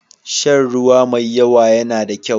Shan ruwa mai yawa yana da kyau.